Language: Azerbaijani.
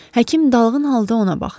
Həkim dalğın halda ona baxdı.